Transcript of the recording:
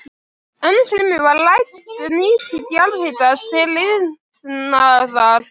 Ennfremur var rædd nýting jarðhitans til iðnaðar.